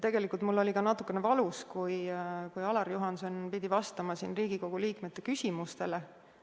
Tegelikult oli mul ka natuke valus, kui Ain-Alar Juhanson pidi vastama siin Riigikogu liikmete küsimustele.